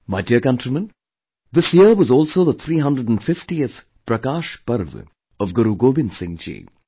My dear countrymen, this year was also the 350th 'Prakash Parv' of Guru Gobind Singh ji